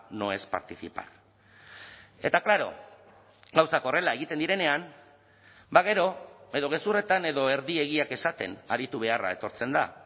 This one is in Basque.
no es participar eta claro gauzak horrela egiten direnean ba gero edo gezurretan edo erdi egiak esaten aritu beharra etortzen da